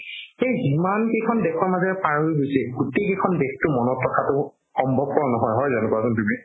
সেই ইমান কেইখন দেশৰ মাজেৰে পাৰ হৈ গৈছে গোটেই কেইখন দেশতো মনত ৰাখাতো সম্ভবপৰ নহয় হয়জানো কোৱাচোন তুমি